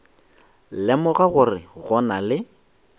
lemoga gore go na le